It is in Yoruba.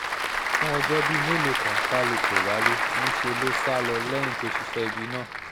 fún ọjọ́ bíi mélòó kan kálu kò wálẹ̀ níṣẹ́ ló sá lọ lẹ́yìn tó ṣiṣẹ́ ibi náà